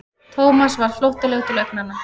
Thomas varð flóttalegur til augnanna.